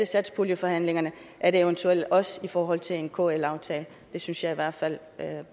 satspuljeforhandlingerne er det eventuelt også i forhold til en kl aftale det synes jeg i hvert fald